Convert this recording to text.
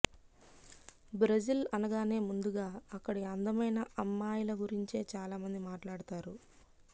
Brazil అనగానే ముందుగా అక్కడి అందమైన అమ్మాయిల గురించే చాలామంది మాట్లాడతారు